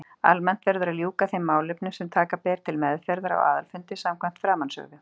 Almennt verður að ljúka þeim málefnum sem taka ber til meðferðar á aðalfundi samkvæmt framansögðu.